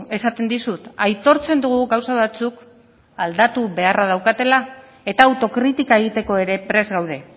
esaten dizut aitortzen dugu gauza batzuk aldatu beharra daukatela eta autokritika egiteko ere prest gaude